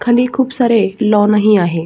खाली खुप सारे लॉन ही आहे.